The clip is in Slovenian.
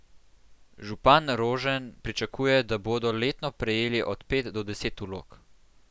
Župan Rožen pričakuje, da bodo letno prejeli od pet do deset vlog.